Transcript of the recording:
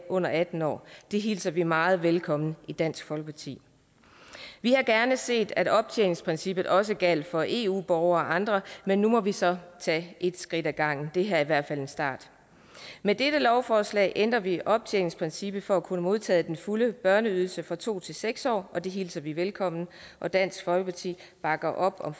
under atten år hilser vi meget velkommen i dansk folkeparti vi havde gerne set at optjeningsprincippet også gjaldt for eu borgere og andre men nu må vi så tage et skridt ad gangen det her er i hvert fald en start med dette lovforslag ændrer vi optjeningsprincippet for at kunne modtage den fulde børneydelse fra to til seks år og det hilser vi velkommen og dansk folkeparti bakker op om